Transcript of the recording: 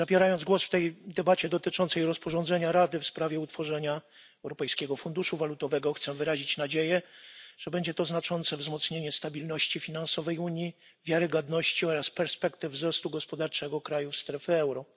Zabierając głos w debacie dotyczącej rozporządzenia Rady w sprawie utworzenia Europejskiego Funduszu Walutowego, chcę wyrazić nadzieję, że będzie to znaczące wzmocnienie stabilności finansowej Unii, wiarygodności oraz perspektyw wzrostu gospodarczego krajów strefy euro.